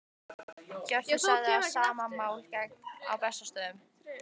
Hjörtur sagði að sama máli gegndi á Bessastöðum.